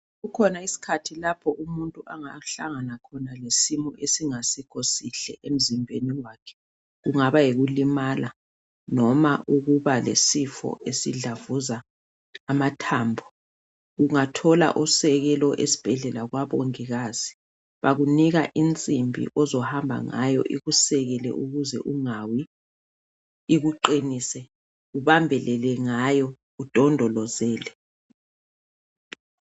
Kukhona isikhathi lapho umuntu angahlangana khona lesimo esingekho sihle emzimbeni wakhe. Kungaba yikulumala noma ukuba lesifo esidlavuza amathambo. Ungathola usekelo esibhedlela kwabongikazi. Bakunika insimbi ozohamba ngayo ikusekele ukuze ungawi, ikuqinise, ubambelele ngayo udondolozele.